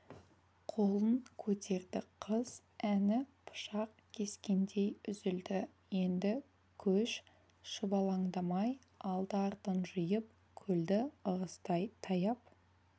қолын көтерді қыз әні пышақ кескендей үзілді енді көш шұбалаңдамай алды-артын жиып көлді ығыстай таяп